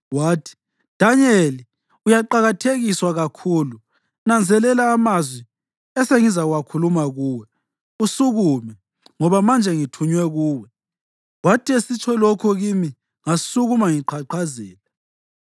Wathi, “Danyeli, uyaqakathekiswa kakhulu, nanzelela amazwi esengizawakhuluma kuwe, usukume, ngoba manje ngithunywe kuwe.” Wathi esitsho lokhu kimi ngasukuma ngiqhaqhazela.